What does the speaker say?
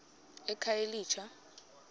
ekhayelitsha